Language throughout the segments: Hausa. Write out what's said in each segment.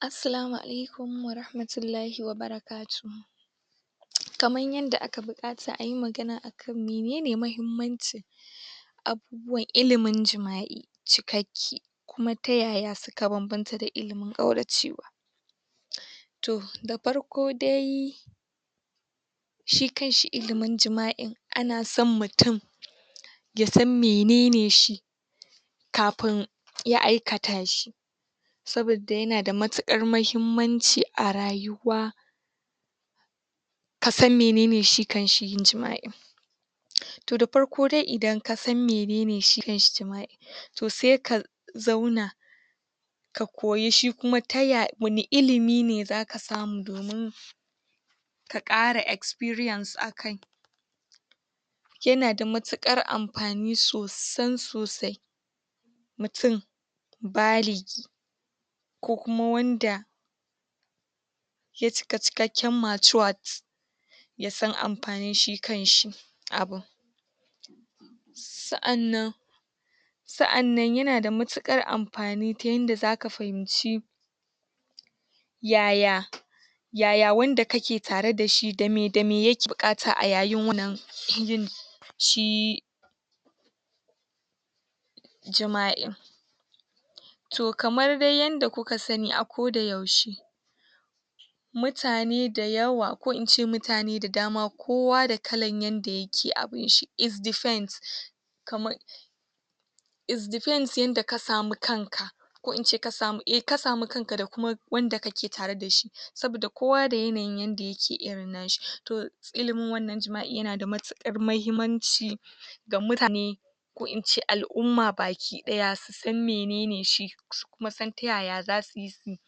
Assalamunalikun warhamantulahi barakatun kamar yan da aka buka ta ayin magana akan manene mahimmanchi ah wa ilimi jimah ie jikaki kuma tayaya suka banbatar da ilimi kwaranchi um toh da farko dai shi kai shi ilimin jima'i ana samn mutum ya san manene shi kafun ya aikata shi sobada ye na d matika mahinmanchi a rayuwa kasan menana shikanshi yin jima'i toh da farko dai idan kasan menana shikanshi yin jima'i toh sai ka zauna ka koyi shi kuma ta ya wani ilimi ne zaka samu domin ka kara experience akai ya nada matukar amfani sosai-sosai mutum barik ko kuma wanda ya cika cikan matured ya san anfani shi kanshi abun su anan su anan yena da matukar anfani ta inda zaka fahimci yaya yaya wanda kake tare dashi damai damai ye bukata ayayi munan shi jima'i toh kamar dai yen da kuka sani ako da yauce mutane da yawa ko ince mutane da dama kowa da kala yanda ake abun shi it depend kamar it depends inda ka samu kansa ko ince kasamu a kasamu kanka da kuma wanda kakai tare dashi sobada kowa da yaneyi yende yake irin nashi ilimin wannan jima'i yenada matukar muhimmanci da mutane ko ince al'uma bakin daya san manene shi mata san yaya zasu ye shi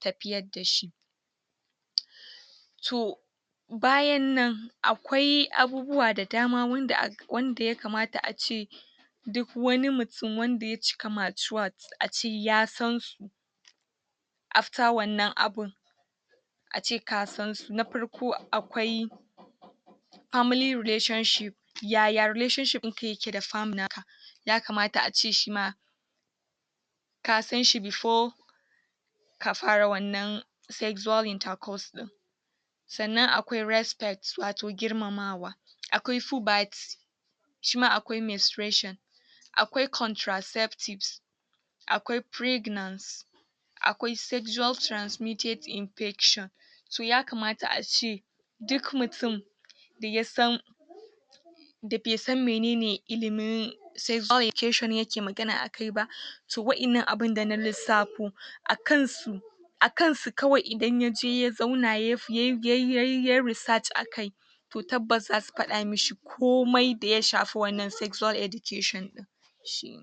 tafiyar dashi toh bayanan akwai abubuwa da dama wanda aka wanda ya kamata a ce duk wani mu mutum wanda ya cika matured aje ya sansu after wannan abun aje ka sansu na farko akwai family relationship yaya relationship inka yeka da family naka yakamata ace shima ka sanshi before kafara wannan sexual intercourse din sannan akwai respect wato grimamawa akwai shi ma akwai menstration akwai contraceptive akwai pregnancy akwai sexual transmitted infection toh yakamata ace duk mutum daya san da bay san menana ilimi sexual education yaka magana akai ba toh waina abun da na lisafu akan su akan su kwai inda ya je ya zauna yayai um yayai research akai to taba zasu fada mishi komai daya safa wannan sexual education shi.